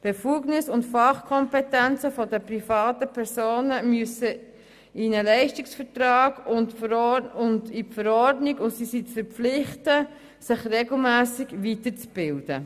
Befugnisse und Fachkompetenzen der privaten Personen gehören in einen Leistungsvertrag und in die Verordnung, und sie sind zu verpflichten, sich regelmässig weiterzubilden.